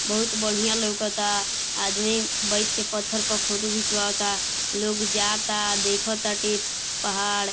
बहुत बढ़िया लौकता। आदमी बईठ के पत्थर पर फोटो खिंचवावता। लोग जाता देखताटे पहाड़।